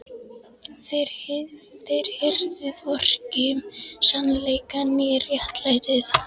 Þér hirðið hvorki um sannleikann né réttlætið.